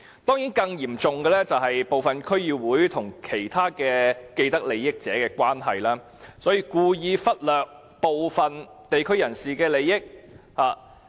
當然，更嚴重的問題，是部分區議會因為與其他既得利益者的關係，故意忽略部分地區人士的利益。